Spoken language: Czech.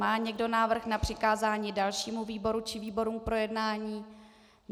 Má někdo návrh na přikázání dalšímu výboru či výborům k projednání?